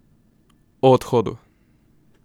O odhodu!